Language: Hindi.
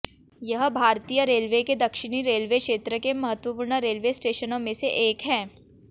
यह भारतीय रेलवे के दक्षिणी रेलवे क्षेत्र के महत्वपूर्ण रेलवे स्टेशनों में से एक है